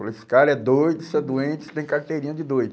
Falou, esse cara é doido, isso é doente, tem carteirinha de doido.